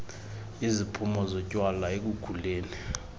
iziphumo zotywala ekukhuleni